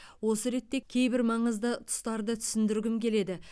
осы ретте кейбір маңызды тұстарды түсіндіргім келеді